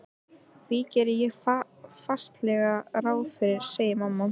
Því geri ég fastlega ráð fyrir, segir mamma.